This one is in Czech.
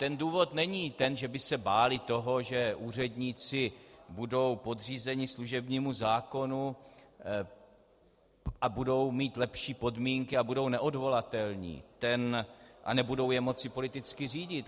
Ten důvod není to, že by se báli toho, že úředníci budou podřízeni služebnímu zákonu a budou mít lepší podmínky a budou neodvolatelní a nebudou je moci politicky řídit.